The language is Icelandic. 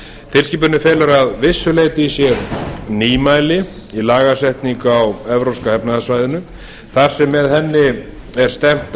tilskipunin felur vissulega í sér nýmæli um lagasetningu á á evrópska efnahagssvæðinu þar sem með henni er stefnt